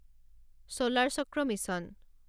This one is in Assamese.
ছোলাৰ চক্ৰ মিছন